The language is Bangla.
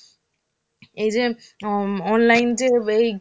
এই যে উম online যে